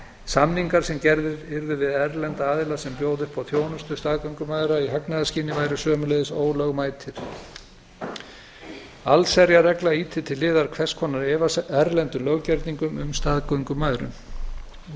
samningar sem gerðir yrðu við erlenda aðila sem bjóða upp á þjónustu staðgöngumæðra í hagnaðarskyni væru einnig ólögmætir allsherjarregla ýtir til hliðar hvers konar erlendum löggjörningum um staðgöngumæðrun loks